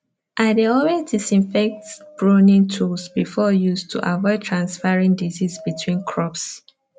i dey always disinfect pruning tools before use to avoid transferring disease between crops